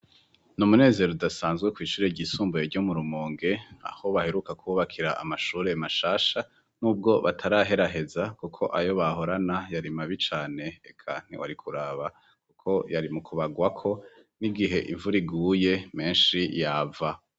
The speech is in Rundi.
Ni umunezero udasanzwe kwishire ryisumbuye ryo murumonge aho baheruka kwubakira amashure mashasha n'ubwo bataraheraheza kuko ayo bahorana yari mabi cane eka ntiwari kuraba kuko yari mukubagwako n'igihe imvura iguye menshi yava.